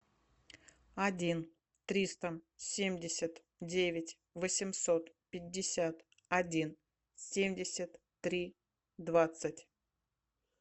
один триста семьдесят девять восемьсот пятьдесят один семьдесят три двадцать